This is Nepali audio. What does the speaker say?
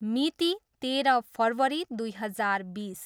मिति, तेह्र फरवरी दुई हजार बिस।